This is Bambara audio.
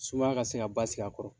Sumaya ka se ka ba sigi a kɔrɔ.